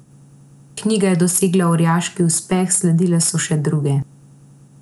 Knjiga je dosegla orjaški uspeh, sledile pa so še druge.